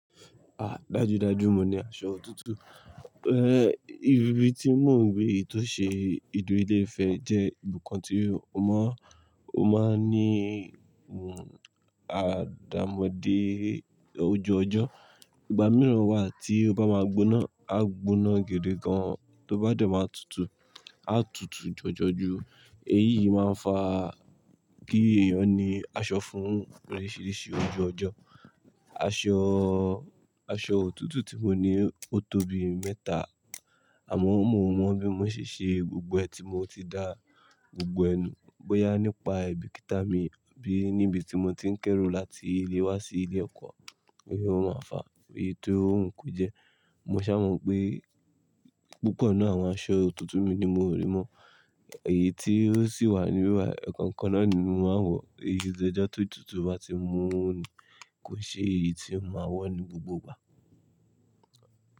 Ah! Dájúdájú mo ní aṣọ òtútù. Ẹ, ibi tí mò ń gbé tó ṣe ibi tó ṣe ibi ilé ìfẹ́ jẹ́ ibìkan tí mo mọ̀, ó máa ń ní, hm, àdàmọ̀dé ojooj'ọ́. Ìgbà mìíràn wà tí ó bá máa gbóná, á gbóná gidi gan, tó bá dẹ́ máa tutù, á tutù jọjọ ju. Èyí máa ń fa kí èèyàn ní aṣọ fún oríṣiríṣi ojooj'ọ́. Aṣọ, aṣọ òtútù tí mo ní ó tóbi mẹ́ta, àmọ́ mo mọ bí mo ṣe ṣe gbogbo ẹni tí mo ti dá, gbogbo ẹ nu. Bóyá nípa ai bìkítà mi àbí níbi tí mo ti ń kẹ́rù láti ilé wá sí ilé ẹ̀kọ́, òun lo máa fa èyí tí ó wuń kún jẹ. Mo ṣàmọ̀ pé púpọ̀ nínú àwọn aṣọ òtútù mi ni mo ò rí mọ́. Èyí tí ó sì wà ní bibai, ẹ̀ẹ̀kan kan náà ni mo máa ń wọ̀. O tun dojo tó tutù bá ti mú ní, kò ṣe èyí tí mo máa wọ̀ ní gbogbo ìgbà.